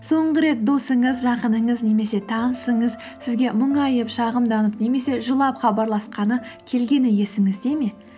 соңғы рет досыңыз жақыныңыз немесе танысыңыз сізге мұңайып шағымданып немесе жылап хабарласқаны келгені есіңізде ме